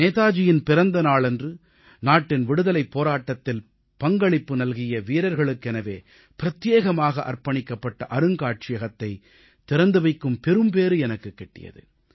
நேதாஜியின் பிறந்த நாளன்று நாட்டின் விடுதலைப் போராட்டத்தில் பங்களிப்பு நல்கிய வீரர்களுக்கெனவே பிரத்யேகமாக அர்ப்பணிக்கப்பட்ட அருங்காட்சியகத்தைத் திறந்து வைக்கும் பெரும்பேறு எனக்குக் கிட்டியது